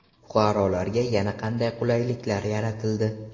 Fuqarolarga yana qanday qulayliklar yaratildi?